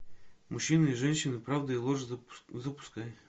мужчины и женщины правда и ложь запускай